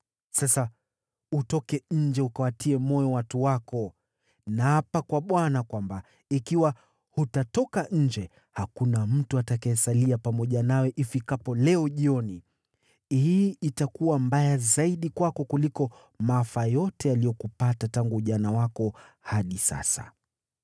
Sasa utoke nje ukawatie moyo watu wako. Naapa kwa Bwana kwamba ikiwa hutatoka nje, hakuna mtu atakayesalia pamoja nawe ifikapo leo jioni. Hii itakuwa mbaya zaidi kwako kuliko maafa yote yaliyokupata tangu ujana wako hadi sasa.”